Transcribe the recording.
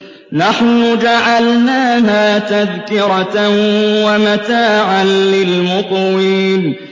نَحْنُ جَعَلْنَاهَا تَذْكِرَةً وَمَتَاعًا لِّلْمُقْوِينَ